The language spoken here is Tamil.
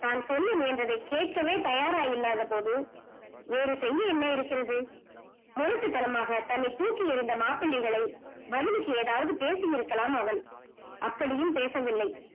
தான் சொல்லும் முயன்றதை கேக்கவே தயாராயில்லாத போது ஒரு செய்ய என்ன இருக்கிறது முரட்டு தானமாக தன்னை தூக்கி எரிந்த மாப்பிள்ளைகளை பதிலுக்கு ஏதாவது பேசிஇருக்கலாம் அவன் அப்படியும் பேசவில்லை